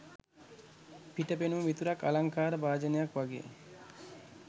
පිට පෙනුම විතරක් අලංකාර භාජනයක් වගේ.